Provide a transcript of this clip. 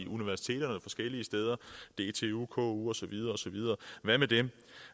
universiteterne og forskellige steder dtu ku og så videre osv hvad med dem